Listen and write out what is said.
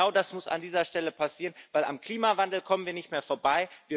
Genau das muss an dieser Stelle passieren, denn am Klimawandel kommen wir nicht mehr vorbei.